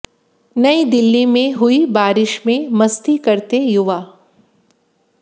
नयी दिल्ली में हुई बारिश में मस्ती करते युवा